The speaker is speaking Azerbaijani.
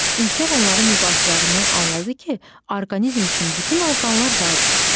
Ülkər onların mübahisələrindən anladı ki, orqanizm üçün bütün orqanlar vacibdir.